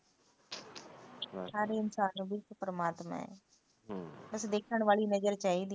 ਹਰ ਇੱਕ ਇਨਸਾਨ ਵਿੱਚ ਪਰਮਾਤਮਾ ਐ ਬਸ ਦੇਖਣ ਵਾਲੀ ਨਜਰ ਚਾਹੀਦੀ